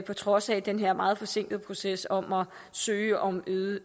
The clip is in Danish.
på trods af den her meget forsinkede proces om at søge om